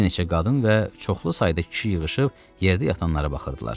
Bir neçə qadın və çoxlu sayda kişi yığışıb yerdə yatanlara baxırdılar.